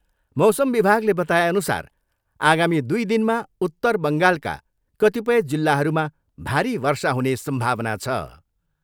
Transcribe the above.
मौसम विभागले बताएअनुसार आगामी दुई दिनमा उत्तर बङ्गालका कतिपय जिल्लहरूमा भारी वर्षा हुने सम्भावना छ।